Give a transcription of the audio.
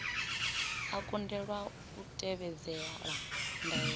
a kundelwa u tevhedzela ndaela